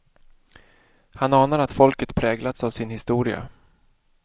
Han anar att folket präglats av sin historia.